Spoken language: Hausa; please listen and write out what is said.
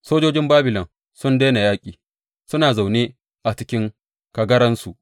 Sojojin Babilon sun daina yaƙi, suna zaune a cikin kagaransu.